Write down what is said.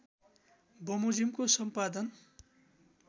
बमोजिमको सम्पादन